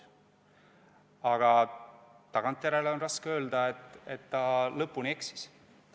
Aga tagantjärele on raske öelda, et ta lõpuni eksis.